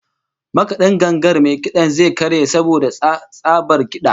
Makad'in gangar mai kid'an zai karye saboda tsabar kid'a